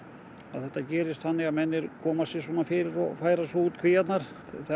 það þetta gerist þannig að menn koma sér fyrir og færa svo út kvíarnar